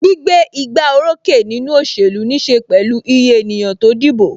Gbígbé igbá orókè nínú òṣèlú níse pẹ̀lú iye ènìyàn tó dìbò.